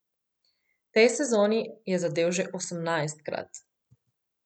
V tej sezoni je zadel že osemnajstkrat.